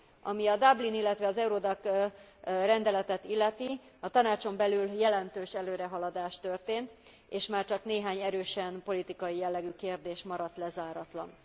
Ami a Dublin, illetve az Eurodac rendeletet illeti, a Tanácson belül jelentős előrehaladás történt, és már csak néhány erősen politikai jellegű kérdés maradt lezáratlan.